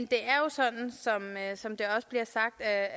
det er jo sådan som det også bliver sagt af